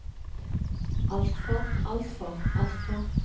altfor altfor altfor